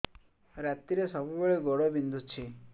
ରାତିରେ ସବୁବେଳେ ଗୋଡ ବିନ୍ଧୁଛି